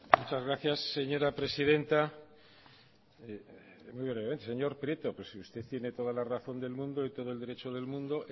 muchas gracias señora presidenta muy brevemente señor prieto pero si usted tiene toda la razón del mundo y todo el derecho del mundo